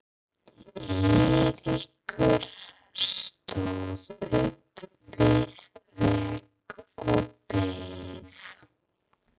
Eiríkur stóð upp við vegg og beið.